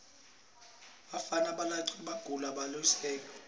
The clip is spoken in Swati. bafana labancawe bagawula lusekwane